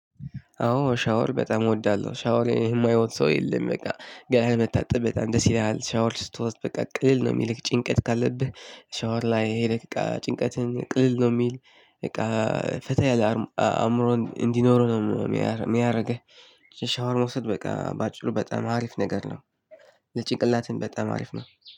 አዎ ሻወር በጣም እወዳለሁ ሻወር የማይወድ ሰው የለም። በቃ ገህ መታጠብ በጣም ደስ ይለሃል ሻወር ስትወስድ በቃ ቅልል ነው። የሚልህ ጭንቀት ካለብህ ሻወር ላይ ይሄ ይለቀሀል ጭንቀትህን ቅልል ነው የሚል። በቃ ፈታ ያለ አእምሮን እንዲኖረው ነው የሚያደርገው። ሻወር መውሰድ በቃ በአጭሩ በጣም አሪፍ ነገር ነው። ለጭቅላትም በጣም አሪፍ ነው